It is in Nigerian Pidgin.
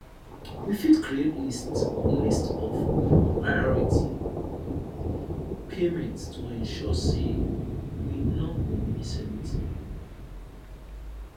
we fit create list list of priority payments to ensure sey we no go miss anything